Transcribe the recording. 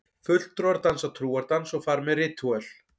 Fulltrúar dansa trúardans og fara með ritúöl.